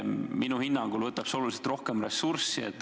Minu hinnangul võtab see oluliselt rohkem ressurssi.